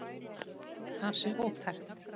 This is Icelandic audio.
Það sé ótækt.